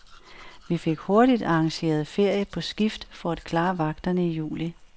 Vi fik hurtigt arrangeret ferie på skift for at klare vagterne i juli.